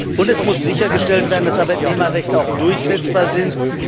Und es muss sichergestellt werden, dass Arbeitnehmerrechte auch durchsetzbar sind.